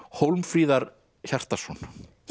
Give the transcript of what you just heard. Hólmfríðar Hjartarson